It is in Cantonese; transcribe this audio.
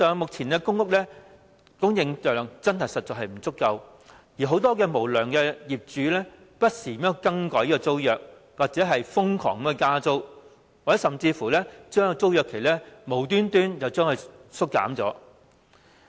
目前的公屋供應量實在不足，很多無良業主更不時更改租約，又或瘋狂加租，甚至無端把租約期縮減。